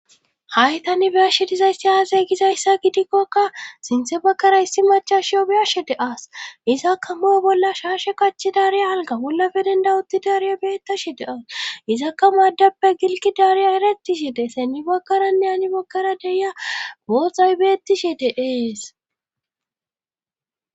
Hayi tani be'ashshe dizayssi aze gizayssa gidikkokka sintse bakara issi machashshiyoe be'ashshe de'as izakka moo bolla shaashe kachi daariya alga bollafe dendawutti daariya beeta she de as izakka maaddappe gilqi daariya ereti shide semmi bagkaranne hani bagara deya gooxay betishshe de'ees